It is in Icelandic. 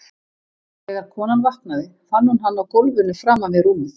Þegar konan vaknaði fann hún hann á gólfinu framan við rúmið.